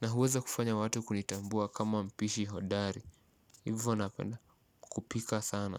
Na huweza kufanya watu kunitambua kama mpishi hodari. Hivyo napenda kupika sana.